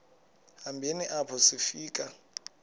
hambeni apho sifika